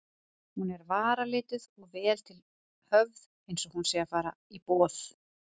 Hún er varalituð og vel til höfð einsog hún sé að fara í boð.